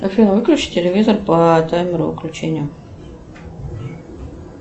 афина выключи телевизор по таймеру выключения